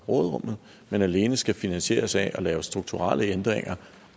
råderummet men alene skal finansieres ved at lave strukturelle ændringer